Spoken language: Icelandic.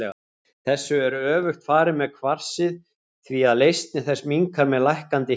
Þessu er öfugt farið með kvarsið því að leysni þess minnkar með lækkandi hita.